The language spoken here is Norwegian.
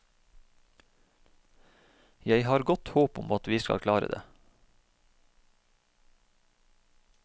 Jeg har godt håp om at vi skal klare det.